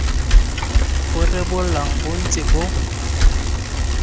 bo rebolang bo ntse bo